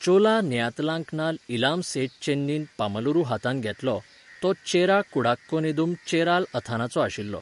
चोला नेयतालांकनाल इलाम सेत चेन्नीन पमालूर हातांत घेतलो, तो चेरा कुडाक्को नेदुम चेराल अथानाचो आशिल्लो.